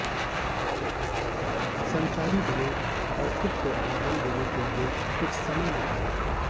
संचारी बने और खुद को आराम देने के लिए कुछ समय निकालें